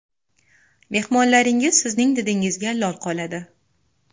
Mehmonlaringiz sizning didingizga lol qoladi.